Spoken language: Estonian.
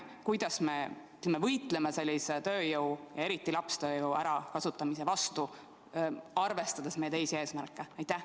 Kuidas me võitleme sellise tööjõu, eriti lapstööjõu ärakasutamise vastu, arvestades meie teisi eesmärke?